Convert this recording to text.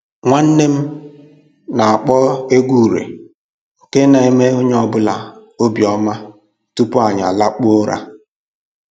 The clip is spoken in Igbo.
Nwanne m na-akpọ egwu ure nke na-eme onye ọbụla obi ọma tupu anyị alakpuo ụra